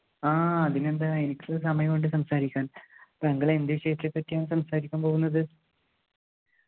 ആഹ് അതിനെന്താ എനിക്ക് സമയമുണ്ട് സംസാരിക്കാൻ താങ്കൾ എന്ത് വിഷയത്തെപ്പറ്റിയാണ് സംസാരിക്കാൻ പോകുന്നത്